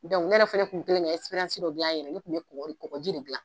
ne yɛrɛ fana tun kɛlen ka dɔ di yan yɛrɛ ne tun bɛ kɔgɔji de dilan